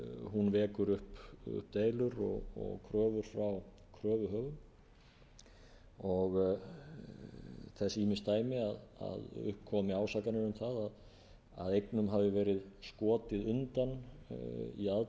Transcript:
hún vekur upp deilur og kröfur frá kröfuhöfum þess eru ýmis dæmi að upp komi ásakanir um að eignum hafi verið skotið undan í aðdraganda